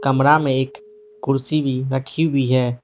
कमरा में एक कुर्सी भी रखी हुई है।